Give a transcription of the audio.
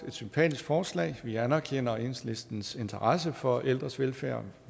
et sympatisk forslag vi anerkender enhedslistens interesse for ældres velfærd